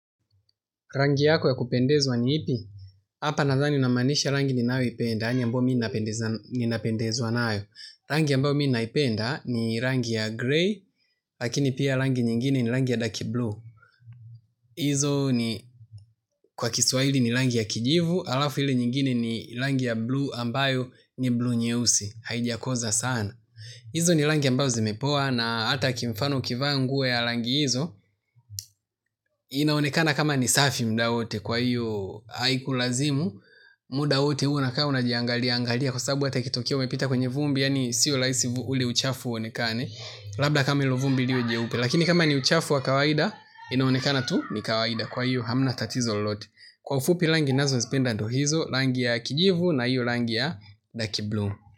Rangi yako ya kupendezwa ni ipi. Hapa nadhani unamaanisha rangi ni nayoipenda, yaani ambayo mimi napendezwa nayo. Rangi ambao minaipenda ni rangi ya grey, lakini pia rangi nyingine ni rangi ya dark blue. Izo ni kwa kiswahili ni rangi ya kijivu, alafu hili nyingine ni rangi ya bluu ambayo ni bluu nyeusi. Haijakoza sana. Izo ni rangi ambazo zimepoa na hata kimfano ukivaa nguo ya rangi hizo. Inaonekana kama ni safi mda wote kwa hiyo haiku lazimu. Muda wote unakaa unajiangalia, angalia kwa sababu hata ikitokea umepita kwenye vumbi, yaani siyo laisi ule uchafu uonekane, labda kama ilo vumbi liwe jeupe, lakini kama ni uchafu wa kawaida, inaonekana tu, ni kawaida, kwa iyo hamna tatizo lolote. Kwa ufupi langi nazo ninazozipenda ndio hizo, langi ya kijivu na iyo langi ya daki bluu.